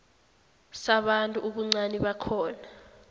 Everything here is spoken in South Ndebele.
sabantu ubuncani bakhona